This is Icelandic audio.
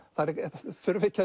þurfa ekki að